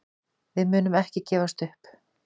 Við munum ekki gefast upp.